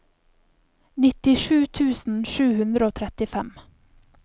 nittisju tusen sju hundre og trettifem